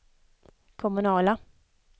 kommunala